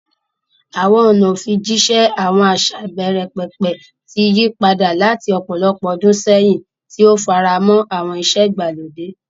Àwọn ọ̀nà ìfijíṣẹ́ àwọn àṣà ìbẹ̀rẹ̀pẹ̀pẹ̀ ti yí padà láti ọ̀pọ̀lọpọ̀ ọdún sẹ́yìn, tí ó ń faramọ́ àwọn ìṣe ìgbàlódé.